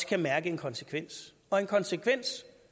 kan mærke en konsekvens og en konsekvens